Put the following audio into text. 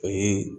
Ani